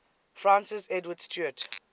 francis edward stuart